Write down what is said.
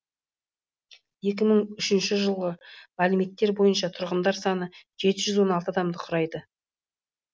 екң мың үшінші жылғы мәліметтер бойынша тұрғындар саны жеті жүз он алты адамды құрайды